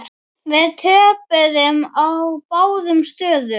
Við töpuðum á báðum stöðum.